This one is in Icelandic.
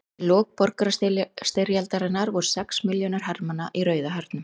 Í lok borgarastyrjaldarinnar voru sex milljónir hermanna í Rauða hernum.